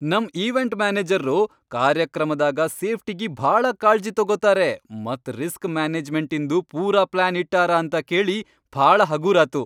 ನಮ್ ಈವೆಂಟ್ ಮ್ಯಾನೇಜರ್ರು ಕಾರ್ಯಕ್ರಮದಾಗ ಸೇಫ್ಟಿಗಿ ಭಾಳ ಕಾಳ್ಜಿ ತೊಗೊತಾರೆ ಮತ್ ರಿಸ್ಕ್ ಮ್ಯಾನೇಜ್ಮೆಂಟಿನ್ದು ಪೂರಾ ಪ್ಲಾನ್ ಇಟ್ಟಾರ ಅಂತ ಕೇಳಿ ಭಾಳ ಹಗೂರಾತು.